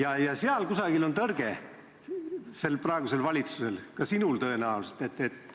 Aga selle vastu on praegusel valitsusel, ka sinul tõenäoliselt tõrge.